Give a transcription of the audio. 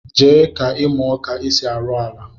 Jee ka imuo ka esi arụ ọla